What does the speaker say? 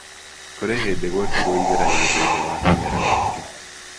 Kũrĩ hĩndĩ gwekĩirũo igeranio thĩinĩ wa kĩmera giki.